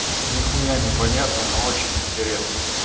нихуя не понятно но очень интересно